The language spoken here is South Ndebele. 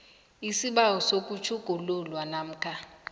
isibawo sokutjhugululwa namkha